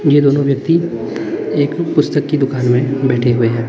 यह दोनों व्यक्ति एक पुस्तक की दुकान में बैठे हुए हैं।